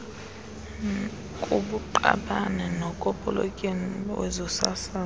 kubuqabane nokopoletyeni wezosasazo